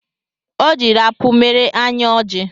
Ọ jiri apụ mere anyị ọjị